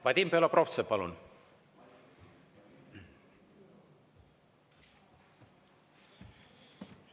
Vadim Belobrovtsev, palun!